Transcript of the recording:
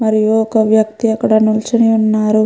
మరియు ఒక వ్యక్తి అక్కడ నిల్చొని ఉన్నారు.